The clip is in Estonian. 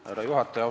Härra juhataja!